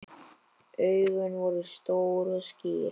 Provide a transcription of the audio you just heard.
Augun voru stór og skýr.